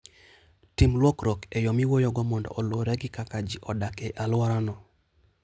Tim lokruok e yo miwuoyogo mondo oluwre gi kaka ji odak e alworano.